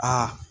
Aa